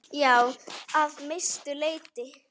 Já, að mestu leyti.